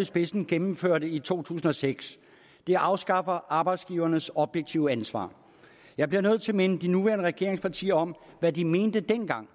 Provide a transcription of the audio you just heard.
i spidsen gennemførte i to tusind og seks den afskaffer arbejdsgivernes objektive ansvar jeg bliver nødt til at minde de nuværende regeringspartier om hvad de mente dengang